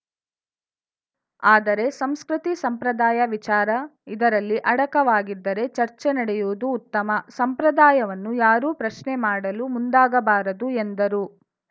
ಆದರೆ ಸಂಸ್ಕೃತಿ ಸಂಪ್ರದಾಯ ವಿಚಾರ ಇದರಲ್ಲಿ ಅಡಕವಾಗಿದ್ದರೆ ಚರ್ಚೆ ನಡೆಯುವುದು ಉತ್ತಮ ಸಂಪ್ರದಾಯವನ್ನು ಯಾರೂ ಪ್ರಶ್ನೆ ಮಾಡಲು ಮುಂದಾಗಬಾರದು ಎಂದರು